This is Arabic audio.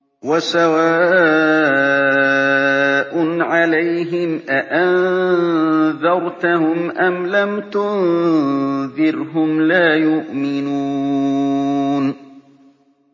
وَسَوَاءٌ عَلَيْهِمْ أَأَنذَرْتَهُمْ أَمْ لَمْ تُنذِرْهُمْ لَا يُؤْمِنُونَ